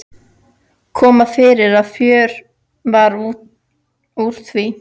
Kom fyrir að fjör varð úr því.